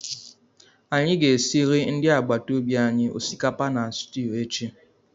Anyị ga-esiriri ndị agbata obi anyị osikapa na stwu echi